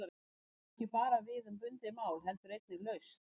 Hugtakið á ekki bara við um bundið mál heldur einnig laust.